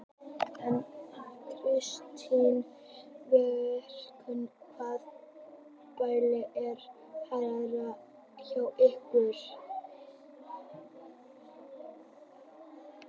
Una Sighvatsdóttir: Kristinn Vilbergsson hvaða pæling er þetta hérna hjá ykkur?